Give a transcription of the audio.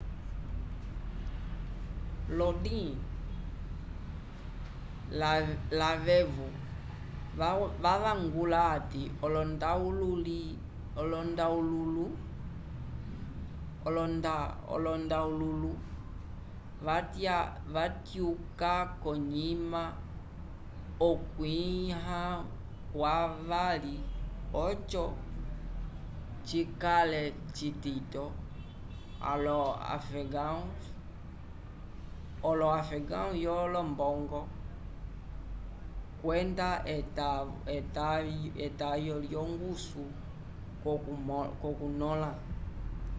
lodin lavevo wavangula ati olondahululu va tyuka konyima okwiya kwavali oco cikale citito olo afegãos yo lombongo kwenda etayo yo ngusu ko kunola